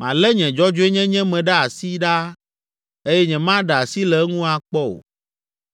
Malé nye dzɔdzɔenyenye me ɖe asi ɖaa eye nyemaɖe asi le eŋu akpɔ o.